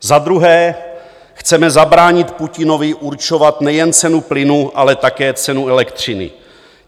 Za druhé chceme zabránit Putinovi určovat nejen cenu plynu, ale také cenu elektřiny.